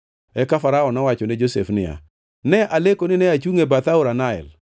Eka Farao nowacho ne Josef niya, “Ne aleko nine achungʼ e bath aora Nael,